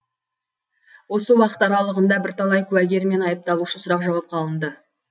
осы уақыт аралығында бірталай куәгер мен айыпталушы сұрақ жауапқа алынды